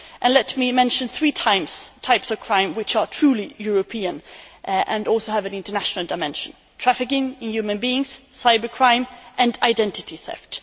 Let me mention three types of crime which are truly European and also have an international dimension trafficking in human beings, cyber crime and identity theft.